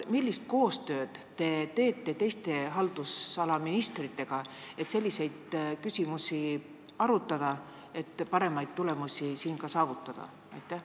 Millist koostööd te teete teiste haldusala ministritega, et selliseid küsimusi arutada ja ka paremaid tulemusi saavutada?